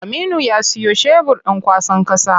Aminu ya siyo shebur ɗin kwasan ƙasa.